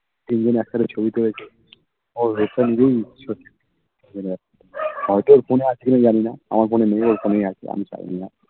তিন জন একসাথে ছবি তুলেছি ওরই phone দিয়ে ছবি মানে হয়তো ওর phone এ আছে কিনা জানিনা আমার phone এ নেই ওর phone এই আছে আমি জানি না